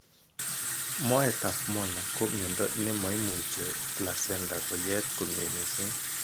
Moet ap molalr ko miondo nemoimuche placenta koyet komie kot missing.